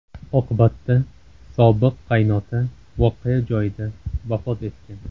Oqibatda sobiq qaynota voqea joyida vafot etgan.